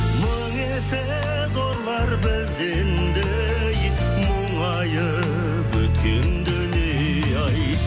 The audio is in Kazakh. мың есе зорлар бізден де ей мұңайып өткен дүние ай